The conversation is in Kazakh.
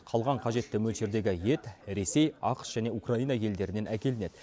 қалған қажетті мөлшердегі ет ресей ақш және украина елдерінен әкелінеді